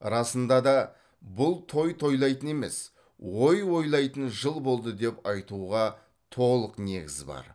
расында да бұл той тойлайтын емес ой ойлайтын жыл болды деп айтуға толық негіз бар